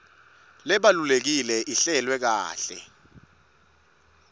lebalulekile ihlelwe kahle